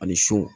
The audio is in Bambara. Ani so